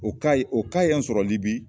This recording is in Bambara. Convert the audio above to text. O ka ye o ka y'an sɔrɔli libi